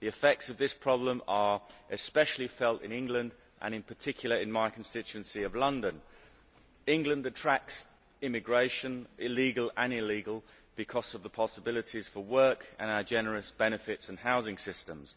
The effects of this problem are especially felt in England and in particular in my constituency of London. England attracts immigration illegal and legal because of the possibilities for work and our generous benefits and housing sytems.